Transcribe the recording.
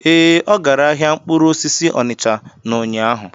Ee, ọ gara ahịa mkpụrụ osisi Onicha n'ụnyaahụ.